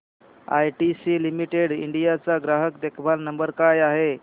ITC limited India चा ग्राहक देखभाल नंबर काय आहे